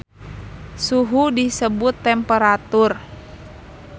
Suhu disebut temperatur